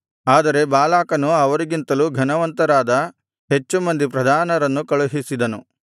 ಆದರೆ ಬಾಲಾಕನು ಅವರಿಗಿಂತಲೂ ಘನವಂತರಾದ ಹೆಚ್ಚು ಮಂದಿ ಪ್ರಧಾನರನ್ನು ಕಳುಹಿಸಿದನು